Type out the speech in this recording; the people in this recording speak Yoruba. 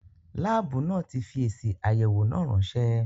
Láàbù náà tí fi èsì àyẹ̀wọ̀ náà ránsẹ́